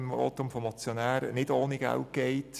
Das haben wir vorhin auch im Votum des Motionärs gehört.